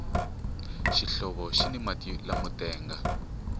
xihlovo xini mati lamo tenga